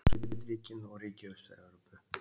Sovétríkin og ríki Austur-Evrópu.